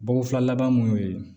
Bako fila laban mun y'o ye